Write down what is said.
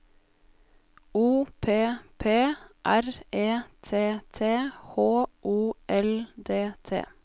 O P P R E T T H O L D T